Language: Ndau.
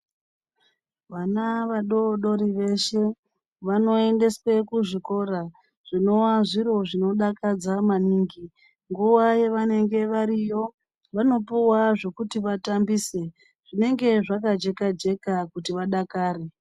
Vana vadodori veshe vanoyendeswe kuzvikora, zvinowazviro zvinodakadza maningi. Nguva vanenge variyo vanopuwa zvokuti vatambise zvinenge zvakajeka jeka kuti vadakare.